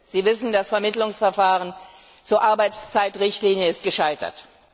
Sie wissen, das Vermittlungsverfahren zur Arbeitszeitrichtlinie ist gescheitert.